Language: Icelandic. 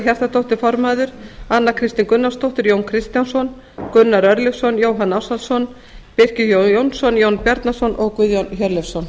hjartardóttir formaður anna kristín gunnarsdóttir jón kristjánsson gunnar örlygsson jóhann ársælsson birkir j jónsson jón bjarnason og guðjón hjörleifsson